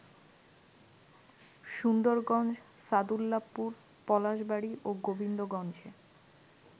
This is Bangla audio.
সুন্দরগঞ্জ, সাদুল্লাপুর, পলাশবাড়ী ও গোবিন্দগঞ্জে